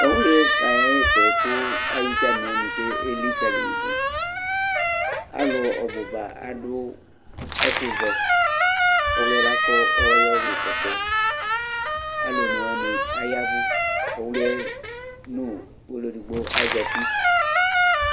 ɔwli kayɛsɛ kʋ ayʋ ʋdzalʋ waniɛlikaliyi dʋ alʋ ɔbʋba adʋ ɛkʋvɛ, ɔwliɛ lakʋ ayɔ ɔwli kɔtɔɛ, ɔlʋ ɔnɛ wani ayavʋ, ɔwliɛ nʋɔlʋɛ ɛdigbɔ azati